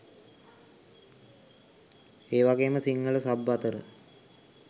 ඒවගේම සිංහල සබ් අතර